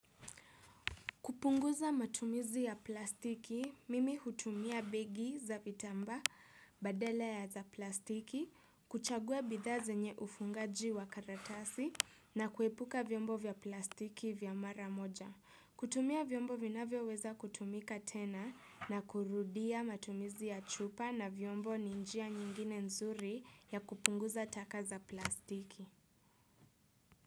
Kupunguza matumizi ya plastiki, mimi hutumia begi za vitambaa badala ya za plastiki, kuchagua bidhaa zenye ufungaji wa karatasi na kuepuka vyombo vya plastiki vya mara moja. Kutumia vyombo vinavyoweza kutumika tena na kurudia matumizi ya chupa na vyombo ni njia nyingine nzuri ya kupunguza taka za plastiki.